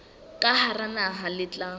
ka hara naha le tla